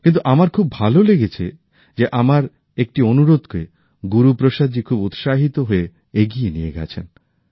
কিন্তু আমার খুব ভালো লেগেছে যে আমার একটি অনুরোধকে গুরু প্রসাদজি খুব উৎসাহিত হয়ে এগিয়ে নিয়ে গেছেন